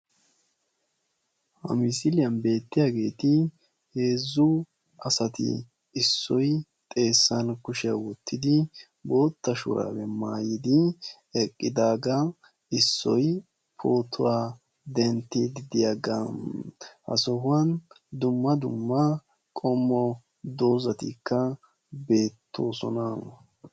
ha misliyani beetiyageti heezzu assati isso xeessani kushiyaa wottisi issoy photuwaa dentidi de"iyaga ha sohuwaani dumma dumma dozzatikka beettossona.